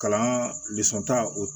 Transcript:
Kalan ta o